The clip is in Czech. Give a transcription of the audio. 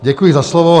Děkuji za slovo.